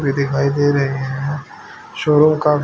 भी दिखाई दे रहे हैं चोरों का--